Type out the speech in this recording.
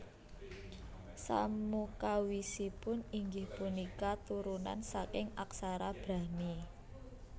Samukawisipun inggih punika turunan saking aksara Brahmi